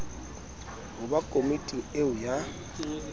ho ba komiting eo ya